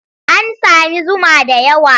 An sami zuma da yawa?